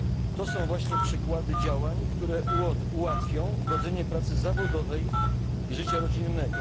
To są właśnie przykłady działań, które ułatwią godzenie pracy zawodowej i życia rodzinnego.